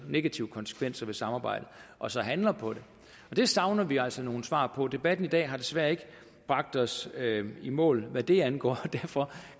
negative konsekvenser af samarbejdet og så handler på det og det savner vi altså nogle svar på debatten i dag har desværre ikke bragt os i mål hvad det angår og derfor